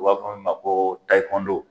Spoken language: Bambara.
U b'a fɔ mun ma ko